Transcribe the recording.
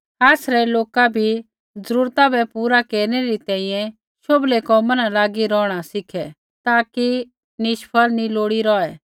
आसरै लोका भी जरूरता बै पूरा केरनै री तैंईंयैं शोभले कोमा न लागी रौहणा सीखे ताकि निष्फल न रौहै लोड़ी